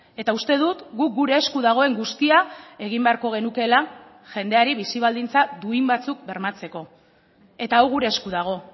eta uste dut guk gure esku dagoen guztia egin beharko genukeela jendeari bizi baldintza duin batzuk bermatzeko eta hau gure esku dago